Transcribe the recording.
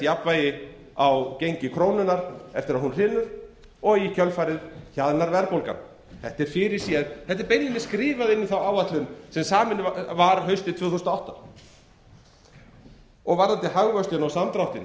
jafnvægi á gengi krónunnar eftir að hún hrynur og í kjölfarið hjaðnar verðbólgan þetta er fyrirséð þetta er beinlínis skrifað inn í þá áætlun sem samin var haustið tvö þúsund og átta varðandi hagvöxtinn og samdráttinn